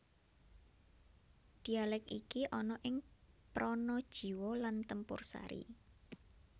Dialek iki ana ning Pranajiwo lan Tempursari